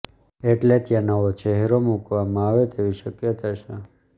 એટલે ત્યાં નવો ચહેરો મૂકવામાં આવે તેવી શક્યતા છે